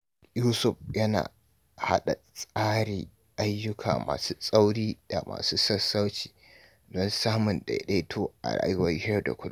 Yusuf yana hada tsari ayyuka masu tsauri da masu sassauci don samun daidaito a rayuwar yau da kullum.